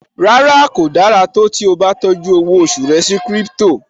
Rárá, kò dára tó tí ó bá tọ́jú owó oṣù rẹ sí crypto